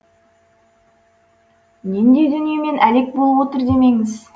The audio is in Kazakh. нендей дүниемен әлек болып отыр демеңіз